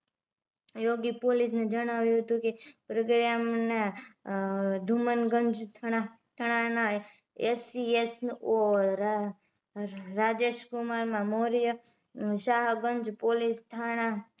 યોગી police ને જણાવ્યું હતું કે પ્રગયમના ધુમનગંજ થાણા ના SCSO રાજેશકુમાર મોર્ય શાહગંજ પોલીસ થાણા